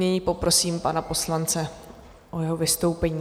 Nyní poprosím pana poslance o jeho vystoupení.